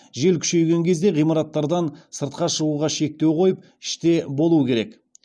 жел күшейген кезде ғимараттардан сыртқа шығуға шектеу қойып іште болу керек